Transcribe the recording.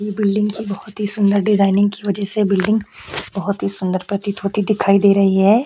ये बिल्डिंग की बहोत ही सुंदर डिजाइनिंग की वजह से ये बिल्डिंग बहोत ही सुंदर प्रतीत होती दिखाई दे रही है।